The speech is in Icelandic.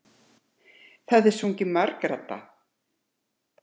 Það er sungið margraddað.